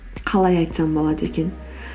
қалай айтсам болады екен